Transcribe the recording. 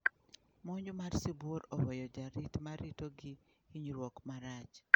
Monj mar sibuor oweyo jarit ma rito gi hinyruok marach.